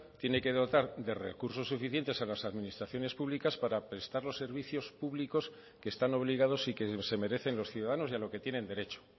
tiene que dotar de recursos suficientes a las administraciones públicas para prestar los servicios públicos que están obligados y que se merecen los ciudadanos y a lo que tienen derecho